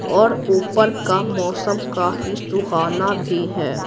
और ऊपर का मौसम काफी सुहाना भी है।